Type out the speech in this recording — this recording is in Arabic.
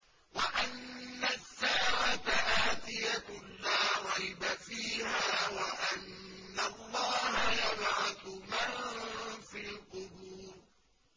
وَأَنَّ السَّاعَةَ آتِيَةٌ لَّا رَيْبَ فِيهَا وَأَنَّ اللَّهَ يَبْعَثُ مَن فِي الْقُبُورِ